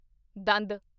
ਦੰਦ